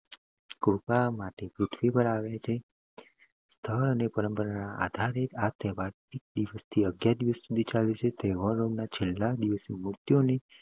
કૃપાઆપવા માટે પૃથ્વી પર આવે છે. સ્થળ અને પરંપરાના આધારે, આ તહેવાર એક દિવસથી અગિયાર દિવસ સુધી હોઈ છેતહેવારના છેલ્લા દિવસે મૂર્તિઓ